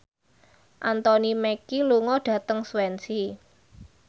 Anthony Mackie lunga dhateng Swansea